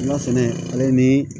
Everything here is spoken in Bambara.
N ka sɛnɛ ale ni